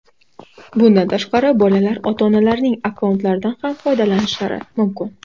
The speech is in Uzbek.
Bundan tashqari, bolalar ota-onalarining akkauntlaridan ham foydalanishlari mumkin.